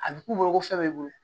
A bɛ k'u bolo ko fɛn b'i bolo